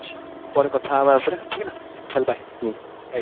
ପରେ କଥା ହବ ଆ ଉପରେ ଠିକ ନା ଚାଲ bye